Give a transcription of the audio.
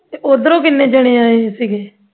ਤੇ ਉਧਰੋਂ ਕਿੰਨੇ ਜਣੇ ਆਏ ਸੀਗੇ